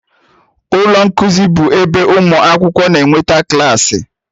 Ụlọ nkuzi bụ ebe ụmụ akwụkwọ na-enweta klaasị.